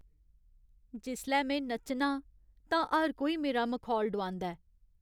जिसलै में नच्चनां तां हर कोई मेरा मखौल डोआंदा ऐ।